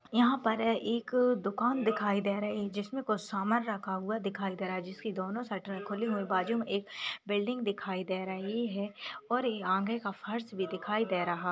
यहा पर एक दुकान दिखाई दे रही है जिसमे कुछ समान रखा हुआ दिखाई दे रहा है जिसके दोनों शटर खुले हुए बाजुमे एक बिल्डिंग दिखाई दे रही है और आगे का फर्श भी दिखाई दे रहा है।